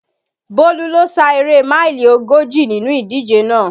Bólú lo sá eré máìlì ogójì nínú ìdíje náà